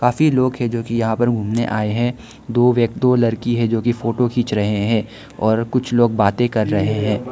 कि लोग है जो कि यहां पर घूमने आए हैं दो व्य दो लड़की है जो की फोटो खींच रहे हैं और कुछ लोग बातें कर रहे हैं।